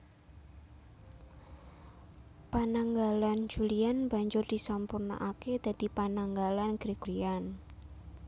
Pananggalan Julian banjur disampurnakaké dadi Pananggalan Gregorian